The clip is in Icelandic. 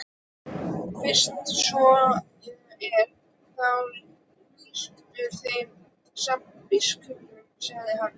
Fyrst svo er þá lýstur þeim saman biskupunum, sagði hann.